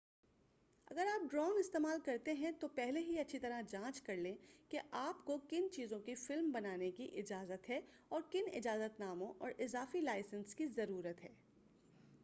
اگر آپ ڈرون استعمال کرتے ہیں تو پہلے ہی اچھی طرح جانچ کر لیں کہ آپ کو کن چیزوں کی فلم بنانے کی اجازت ہے اور کن اجازت ناموں اور اضافی لائسنس کی ضرورت ہے